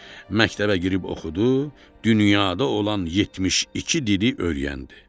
Məktəbə girib oxudu, dünyada olan 72 dili öyrəndi.